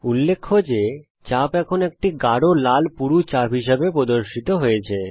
উল্লেখ্য যে চাপ এখন একটি গাঢ় লাল পুরু চাপ হিসাবে প্রদর্শিত হচ্ছে